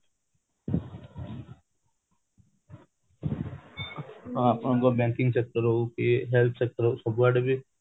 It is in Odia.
ଆପଣଙ୍କର banking sector ହଉ କି heath sector ସବୁଆଡେ ବି